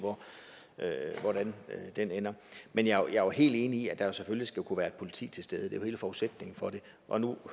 hvordan den ender men jeg er jo helt enig i at der selvfølgelig skal kunne være politi til stede jo hele forudsætningen for det og nu